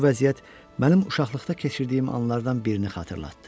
Bu vəziyyət mənim uşaqlıqda keçirdiyim anlardan birini xatırlatdı.